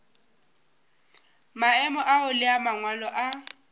maemo ao le mangwalo a